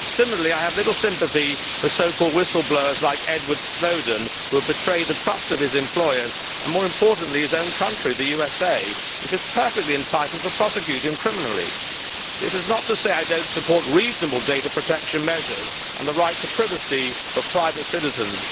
Similarly, I have little sympathy for so called whistle blowers like Edward Snowden, who has betrayed the trust of his employers and, more importantly, his own country, the USA, which is perfectly entitled to prosecute him under criminal law. This is not to say that I do not support reasonable data protection measures and the right to privacy for private citizens.